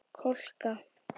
Kolka